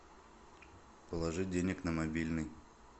положи денег на мобильный